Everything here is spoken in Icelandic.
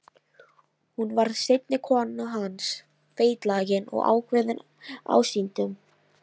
Hún varð seinni kona hans, feitlagin og ákveðin ásýndum.